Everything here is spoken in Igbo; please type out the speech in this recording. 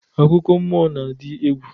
Akụkọ mmụọ n'adị egwu